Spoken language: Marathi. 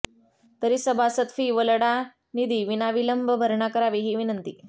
तरी सभासद फी व लढानिधी विनाविलंब भरणा करावी हि विनंती